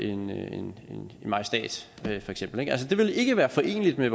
en majestæt ville det ikke være foreneligt med